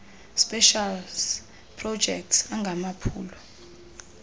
specials projects angamaphulo